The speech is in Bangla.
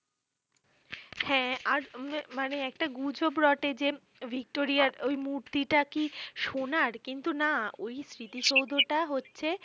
হ্যাঁ আর উম মানে একটা গুজব রটে যে ভিক্টোরিয়ার ঐ মূর্তিটা কি সোনার কিন্তু না ঐ স্মৃতিসৌধটা হচ্ছে